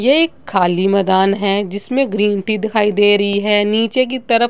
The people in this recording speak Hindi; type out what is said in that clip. यह एक खाली मैंदान है जिसमे ग्रीन टी दिखाई दे रही है। नीचे की तरफ --